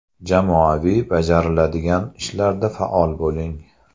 Jamoaviy bajariladigan ishlarda faol bo‘ling.